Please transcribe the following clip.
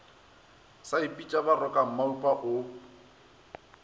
sa ipitša baroka maupa o